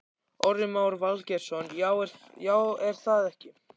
Orri Már Valgeirsson: Já, er það ekki?